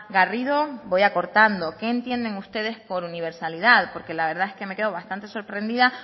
garrido voy acortando qué entienden ustedes por universalidad porque la verdad es que me quedo bastante sorprendida